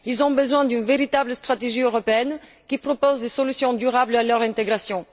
Ils ont besoin d'une véritable stratégie européenne, qui propose des solutions durables à leur intégration.